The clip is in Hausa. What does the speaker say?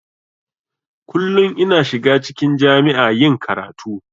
Kullun ina shiga cikin jami'a yin karatu.